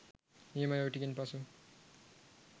නියමයි ඔය ටිකෙන් පසු